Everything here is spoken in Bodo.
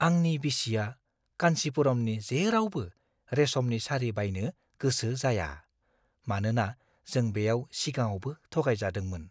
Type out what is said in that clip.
आंनि बिसिया कान्चिपुरमनि जेरावबो रेसमनि सारि बायनो गोसो जाया, मानोना जों बेयाव सिगाङावबो थगायजादोंमोन।